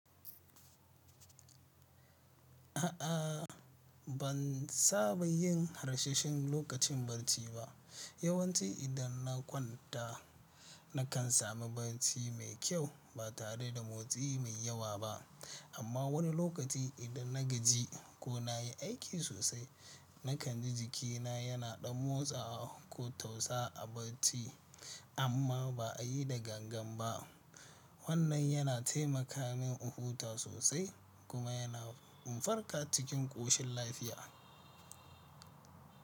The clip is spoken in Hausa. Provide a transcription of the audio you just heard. A'a ban saba yin harsasshen lokacin barci ba. Yawanci idan na kwanta nakan sami barci mai kyau ba tare da motsi mai yawa ba. Amma wani lokaci idan na gaji ko na yi aiki sosai, na kan jikina yana ɗan motsawa ko tausa a barci amma ba a yi da gangan ba. Wannan yana taimaka min in huta sosai kuma yana farƙa cikin ƙoshin lafiya.